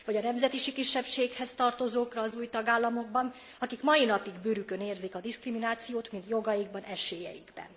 Vagy a nemzeti kisebbséghez tartozókra az új tagállamokban, akik mai napig bőrükön érzik a diszkriminációt, mind jogaikban, esélyeikben.